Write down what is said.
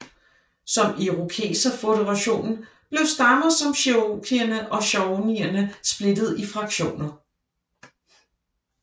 Som irokeserføderationen blev stammer som cherokeerne og shawneerne splittet i fraktioner